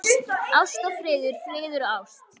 Ást og friður, friður og ást.